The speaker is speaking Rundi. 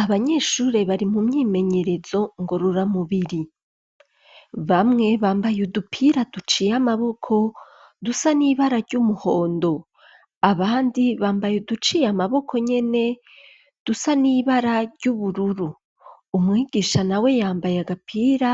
Abanyeshure bari mu myimenyerezo ngororamubiri, bamwe bambaye udupira duciye amaboko dusa n'ibara ry'umuhondo, abandi bambaye uduciye amaboko nyene dusa n'ibara ry'ubururu umwigisha nawe yambaye agapira